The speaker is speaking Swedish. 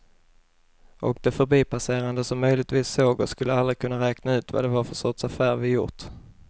Och de förbipasserande som möjligtvis såg oss skulle aldrig kunna räkna ut vad det var för sorts affär vi gjort.